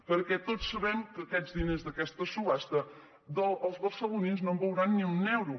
perquè tots sabem que d’a quests diners d’aquesta subhasta els barcelonins no en veuran ni un euro